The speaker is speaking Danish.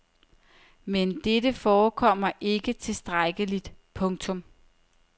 Men dette forekommer ikke tilstrækkeligt. punktum